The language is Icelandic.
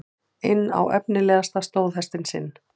inn á efnilegasta stóðhestinn sinn.